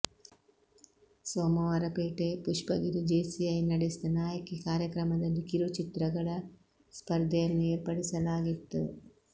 Somwarpet Pushpagiri JCI ನಡೆಸಿದ ನಾಯಕಿ ಕಾರ್ಯಕ್ರಮದಲ್ಲಿ ಕಿರು ಚಿತ್ರಗಳ ಸ್ಪರ್ಧೆಯನ್ನು ಏರ್ಪಡಿಸಲಾಗಿತ್ತು